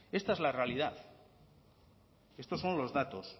esta es la realidad estos son los datos